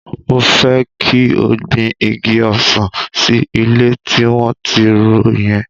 Mo fẹ́ kí o gbin igi ọsàn sí ilẹ̀ tí wọ́n ti ro yẹn.